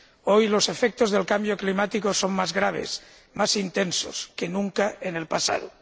Hoy, los efectos del cambo climático son más graves, más intensos que nunca en el pasado.